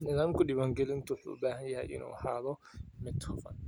Nidaamka diiwaangelinta wuxuu u baahan yahay inuu ahaado mid hufan.